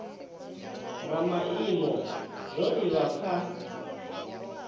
na maimo zwo livha kha